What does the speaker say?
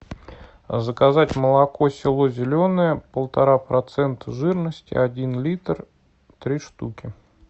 заказать молоко село зеленое полтора процента жирности один литр три штуки